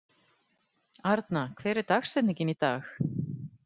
Arna, hver er dagsetningin í dag?